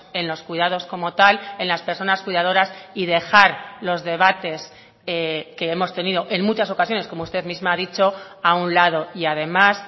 en los cuidados como tal en las personas cuidadoras y dejar los debates que hemos tenido en muchas ocasiones como usted misma ha dicho a un lado y además